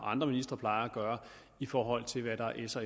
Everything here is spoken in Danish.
andre ministre plejer at gøre i forhold til hvad der er s og